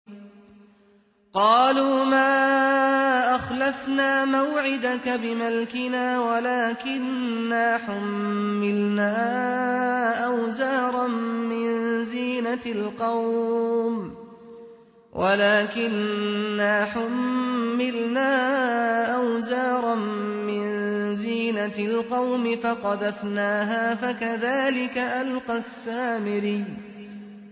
قَالُوا مَا أَخْلَفْنَا مَوْعِدَكَ بِمَلْكِنَا وَلَٰكِنَّا حُمِّلْنَا أَوْزَارًا مِّن زِينَةِ الْقَوْمِ فَقَذَفْنَاهَا فَكَذَٰلِكَ أَلْقَى السَّامِرِيُّ